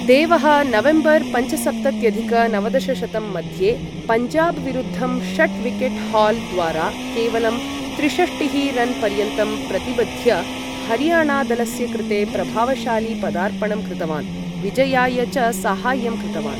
देवः नवेम्बर् पञ्चसप्तत्यधिक नवदशशतं मध्ये, पञ्जाबविरुद्धं षट् विकेट् हाल् द्वारा, केवलं त्रिषष्टिः रन् पर्यन्तं प्रतिबध्य, हरियाणादलस्य कृते प्रभावशाली पदार्पणं कृतवान्, विजयाय च साहाय्यं कृतवान्।